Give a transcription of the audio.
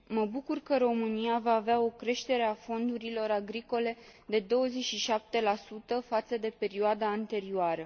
Mă bucur că România va avea o creștere a fondurilor agricole de 27 față de perioada anterioară.